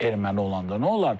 Erməni olanda nə olar?